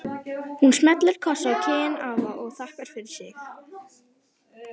Hún smellir kossi á kinn afa og þakkar fyrir sig.